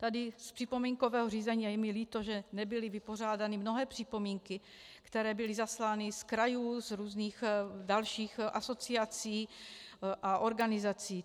Tady z připomínkového řízení - a je mi líto, že nebyly vypořádány mnohé připomínky, které byly zaslány z krajů, z různých dalších asociací a organizací.